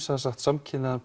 samkynhneigðan